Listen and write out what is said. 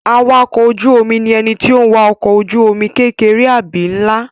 Awakọ̀ ojú-omi ni ẹni tó n wa ọkọ̀ ojú-omi kékeré àbí nlá